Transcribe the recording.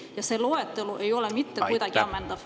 Ja see loetelu ei ole mitte kuidagi ammendatud.